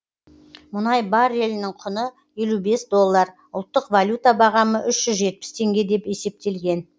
мұнай баррелінің құны елу бес доллар ұлттық валюта бағамы үш жүз жетпіс теңге деп есептелген